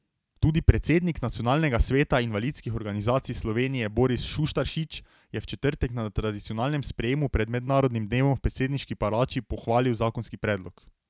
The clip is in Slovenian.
Tudi predsednik Nacionalnega sveta invalidskih organizacij Slovenije Boris Šuštaršič je v četrtek na tradicionalnem sprejemu pred mednarodnim dnevom v predsedniški palači pohvalil zakonski predlog.